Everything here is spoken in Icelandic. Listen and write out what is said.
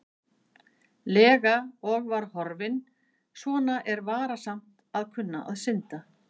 lega og var horfinn, svona er varasamt að kunna að synda.